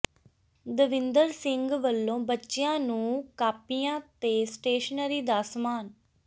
ਦਵਿੰਦਰ ਸਿੰਘ ਵਲੋਂ ਬੱਚਿਆਂ ਨੰੂ ਕਾਪੀਆਂ ਤੇ ਸਟੇਸ਼ਨਰੀ ਦਾ ਸਮਾਨ